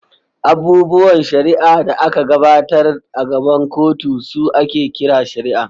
Abubuwan shari’a da aka gabatar a gaban kotu su ake kira shari’a.